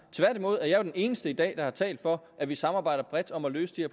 tværtimod er jeg jo den eneste i dag der har talt for at vi samarbejder bredt om at løse de